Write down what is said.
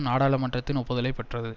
நாடாளுமன்றத்தின் ஒப்புதலைப்பெற்றது